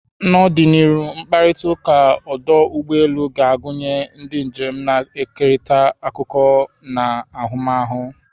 N'ọdịnihu, mkparịta ụka ọdụ ụgbọ elu ga-agụnye ndị njem na-ekerịta akụkọ na ahụmahụ.